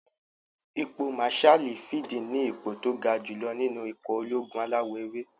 Ipò màsáàlì fíìdì ní ipò tó ga jù lọ nínú ikọ̀ ológun alawọ̀-ewé